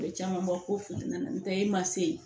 A bɛ caman bɔ ko fila la n'o tɛ e ma se yen